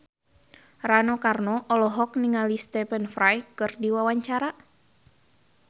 Rano Karno olohok ningali Stephen Fry keur diwawancara